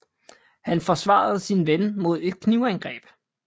Han forsvarede sin ven mod et knivangreb